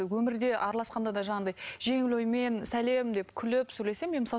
өмірде араласқанда да жаңағындай жеңіл оймен сәлем деп күліп сөйлесемін мен мысалы